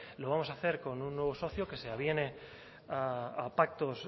lo vamos a hacer con un nuevo socio que se aviene a pactos